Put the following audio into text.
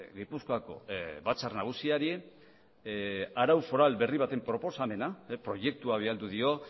gipuzkoako batzar nagusiari arau foral berri baten proposamena proiektua bidali dio